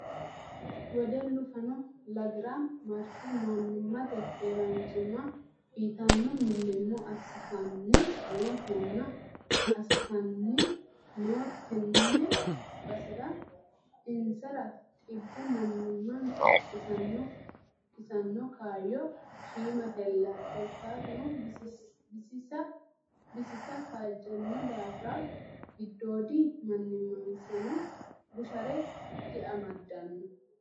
Wedellu fanu lagira marte manimate keeranchima uyittano millimillo assittanni no tene basera insara xibbu manimansa kisano kaayyo shiimatella korkaatuno bisisa kaajjano daafira giddoodi manimansano bushare diamadano.